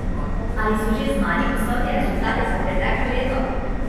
Ali so že znani poslovni rezultati za preteklo leto?